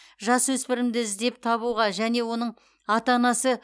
жасөспірімді іздеп табуға және оның ата анасы